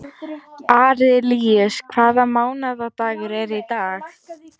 Arilíus, hvaða mánaðardagur er í dag?